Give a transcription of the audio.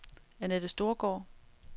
Anette Storgaard